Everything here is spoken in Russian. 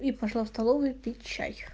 и пошла в столовую пить чай